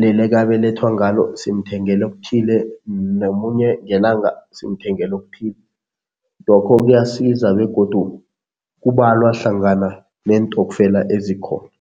leli ekabelethwe ngalo simthengela okuthile, nomunye ngelanga simthengela okuthile. Lokho kuyasiza begodu kubalwa hlangana neentokfela ezikhona.